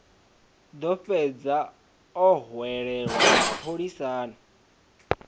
ḓo fhedza o hwelelwa mapholisani